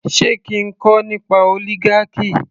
Sé kí a kọ nípa oligarchy